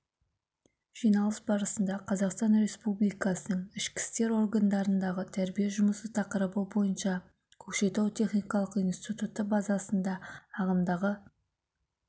жиналыс барысында қазақстан республикасының ішкі істер органдарындағы тәрбие жұмысы тақырыбы бойынша көкшетау техникалық институты базасында ағымдағы